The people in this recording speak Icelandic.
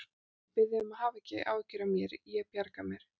Ég bið þig um að hafa ekki áhyggjur af mér, ég bjarga mér.